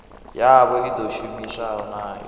yavho i ḓo shumiwa nayo